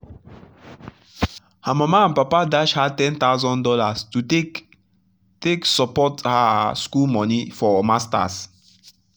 her mama and papa dash her one thousand dollars0 to take take support her school money for master's.